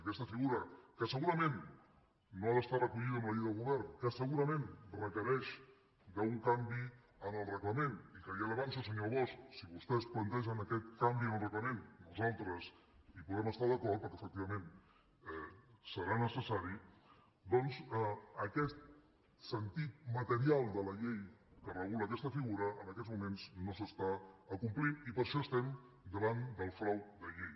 aquesta figura que segurament no ha d’estar recollida en la llei de govern que segurament requereix d’un canvi en el reglament i que ja li ho avanço senyor bosch si vostès plantegen aquest canvi en el reglament nosaltres hi podem estar d’acord perquè efectivament serà necessari doncs aquest sentit material de la llei que regula aquesta figura en aquests moments no s’acompleix i per això estem davant del frau de llei